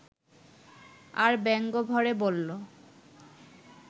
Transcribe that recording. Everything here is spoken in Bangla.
আর ব্যঙ্গভরে বলল